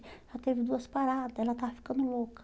Já teve duas parada, ela estava ficando louca.